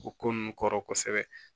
O ko nunnu kɔrɔ kosɛbɛ